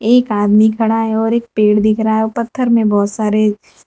एक आदमी खड़ा है और एक पेड़ दिख रहा है और पत्थर में बहुत सारे--